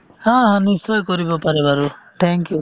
haa haa নিশ্চয় কৰিব পাৰে বাৰু thank you